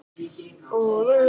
Lóðsinn fór of snemma frá borði